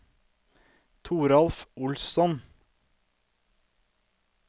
Toralf Olsson